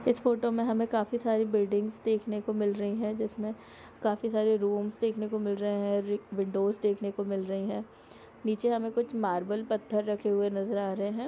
इस फोटो में हमे काफी सारे विंडोज दिखाई दे रहे है जिसमे हमेकाफी सारे रूम देखनेको मिल रही हैं नीचे मार्बल पत्थर देखने को मिल रहा है।